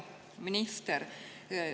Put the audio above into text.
Hea minister!